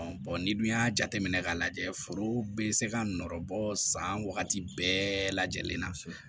n'i dun y'a jateminɛ k'a lajɛ foro bɛ se ka nɔrɔ bɔ san wagati bɛɛ lajɛlen na